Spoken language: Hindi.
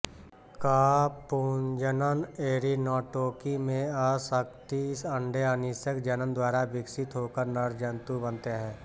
क पुंजनन ऐरिनॉटोकी में असंसिक्त अंडे अनिषेक जनन द्वारा विकसित होकर नर जंतु बनते हैं